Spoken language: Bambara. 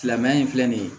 Silamɛya in filɛ nin ye